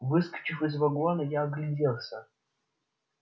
выскочив из вагона я огляделся